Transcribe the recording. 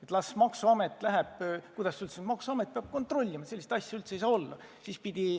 Et las maksuamet läheb ja kontrollib – sellist asja üldse ei saa olla!